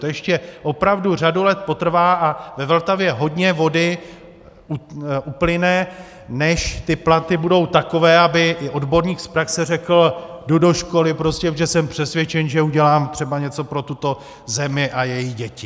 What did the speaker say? To ještě opravdu řadu let potrvá a ve Vltavě hodně vody uplyne, než ty platy budou takové, aby i odborník z praxe řekl: Jdu do školy, protože jsem přesvědčen, že udělám třeba něco pro tuto zemi a její děti.